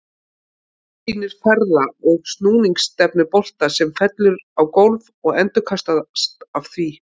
Myndin sýnir ferða- og snúningsstefnu bolta sem fellur á gólf og endurkastast af því.